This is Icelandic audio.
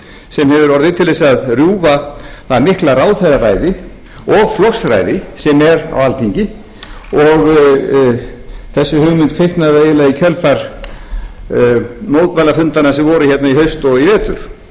sem hefur orðið til að rjúfa það mikla ráðherraræði og flokksræði sem er á alþingi og þessi hugmynd kviknaði eiginlega í kjölfar mótmælafundanna sem voru hérna í haust og í vetur og